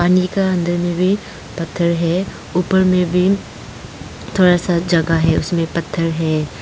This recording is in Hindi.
पानी का अंदर में भी पत्थर है ऊपर में भी थोड़ा सा जगह है उसमें पत्थर है।